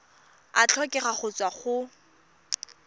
a tlhokega go tswa go